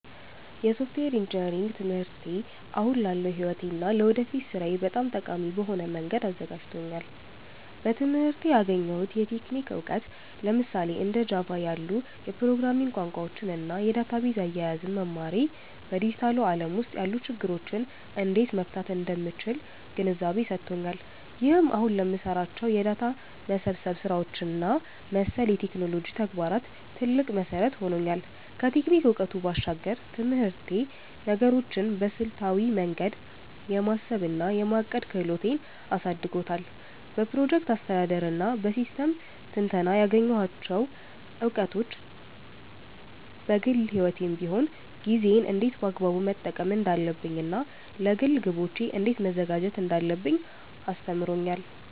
የሶፍትዌር ኢንጂነሪንግ ትምህርቴ አሁን ላለው ሕይወቴ እና ለወደፊት ሥራዬ በጣም ጠቃሚ በሆነ መንገድ አዘጋጅቶኛል። በትምህርቴ ያገኘሁት የቴክኒክ እውቀት፣ ለምሳሌ እንደ ጃቫ (Java) ያሉ የፕሮግራሚንግ ቋንቋዎችን እና የዳታቤዝ አያያዝን መማሬ፣ በዲጂታሉ ዓለም ውስጥ ያሉ ችግሮችን እንዴት መፍታት እንደምችል ግንዛቤ ሰጥቶኛል። ይህም አሁን ለምሰራቸው የዳታ መሰብሰብ ስራዎች እና መሰል የቴክኖሎጂ ተግባራት ትልቅ መሠረት ሆኖኛል። ከቴክኒክ እውቀቱ ባሻገር፣ ትምህርቴ ነገሮችን በስልታዊ መንገድ የማሰብ እና የማቀድ ክህሎቴን አሳድጎታል። በፕሮጀክት አስተዳደር እና በሲስተም ትንተና ያገኘኋቸው እውቀቶች፣ በግል ሕይወቴም ቢሆን ጊዜዬን እንዴት በአግባቡ መጠቀም እንዳለብኝ እና ለግል ግቦቼ እንዴት መዘጋጀት እንዳለብኝ አስተምሮኛል።